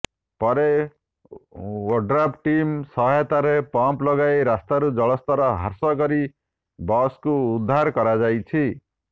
ପରେ ODRAF team ସହାୟତାରେ pump ଲଗାଇ ରାସ୍ତାରୁ ଜଳସ୍ତର ହ୍ରାସ କରି ବସ୍କୁ ଉଦ୍ଧାର କରାଯାଇଛି